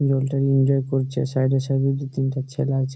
জল তা এনজয় করছে সাইড এ সাইড দুই তিনটা ছেলে আছে।